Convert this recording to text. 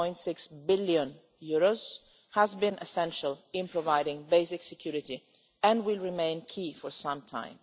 1.6 billion, has been essential in providing basic security and will remain key for some time.